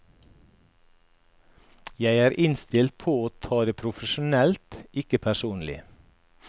Jeg er innstilt på å ta det profesjonelt, ikke personlig.